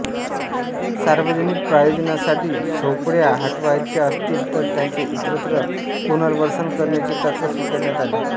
सार्वजनिक प्रयोजनासाठी झोपडया हटवायच्या असतील तर त्यांचे इतरत्र पुनर्वसन करण्याचे तत्व स्वीकारण्यात आले